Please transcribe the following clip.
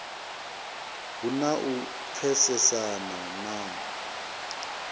hu na u pfesesana na